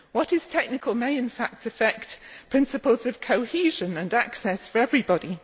What is technical may, in fact, affect principles of cohesion and access for everybody.